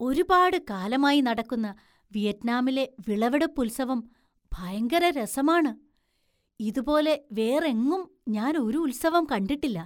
ഒരുപാട് കാലമായി നടക്കുന്ന വിയറ്റ്നാമിലെ വിളവെടുപ്പുത്സവം ഭയങ്കര രസമാണ്; ഇതുപോലെ വേറെങ്ങും ഞാന്‍ ഒരു ഉത്സവം കണ്ടിട്ടില്ല.